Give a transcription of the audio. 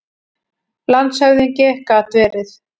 LANDSHÖFÐINGI: Gat verið.